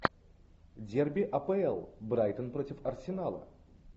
дерби апл брайтон против арсенала